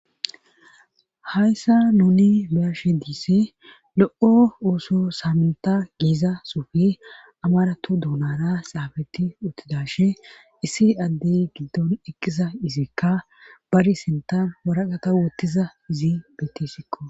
Hayssa nuni beashe diise lo'o uoso saamenta giiza sufi amaratu duunana saafeti uttidashe issi addey giddon eqisa izikka bari sentan waraqata wottiza izi bettissikko.